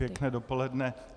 Pěkné dopoledne.